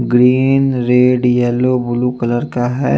Green red yellow blue colour का है।